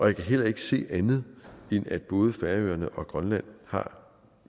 jeg kan heller ikke se andet end at både færøerne og grønland har